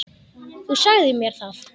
Þú sagðir mér það.